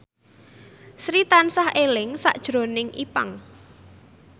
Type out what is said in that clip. Sri tansah eling sakjroning Ipank